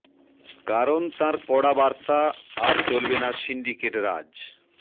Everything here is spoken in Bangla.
কারণ তাঁর কড়া বার্তা আর চলবে না সিন্ডিকেট রাজ